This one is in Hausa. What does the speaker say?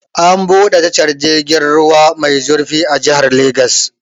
An buɗe tashar jirgin ruwa mai zurfi a jihar Lagos.